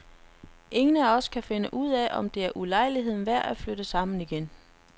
Ingen af os kan finde ud af, om det er ulejligheden værd at flytte sammen igen.